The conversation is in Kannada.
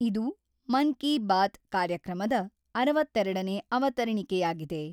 ಇದು ಮನ್-ಕಿ-ಬಾತ್ ಕಾರ್ಯಕ್ರಮದ ಅರವತ್ತೆರಡನೇ ಅವತರಣಿಕೆಯಾಗಿದೆ.